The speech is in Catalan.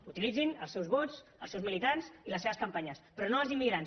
utilitzin els seus vots els seus militants i les seves campanyes però no els im migrants